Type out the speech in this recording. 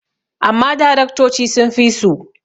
amma daraktoci sun fi su